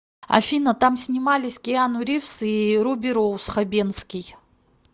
афина там снимались киану ривз и руби роуз хабенский